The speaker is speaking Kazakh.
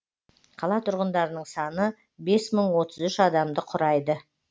қала тұрғындарының саны бес мың отыз үш адамды құрайды